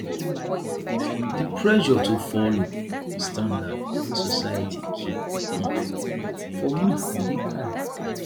di pressure to folo standard wey society keep um for me dey high